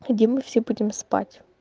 ам где мы все будем спать